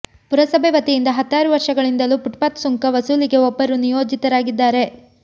ಪುರಸಭೆ ವತಿಯಿಂದ ಹತ್ತಾರು ವರ್ಷಗಳಿಂದಲೂ ಪುಟ್ಪಾತ್ ಸುಂಕ ವಸೂಲಿಗೆ ಒಬ್ಬರು ನಿಯೋಜಿತರಾಗಿದ್ದಾರೆ